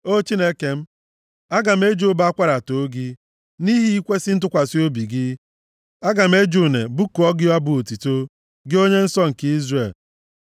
O Chineke m, aga m eji ụbọ akwara too gị, nʼihi ikwesi ntụkwasị obi gị; aga m eji une bụkuo gị abụ otuto, gị Onye nsọ nke Izrel.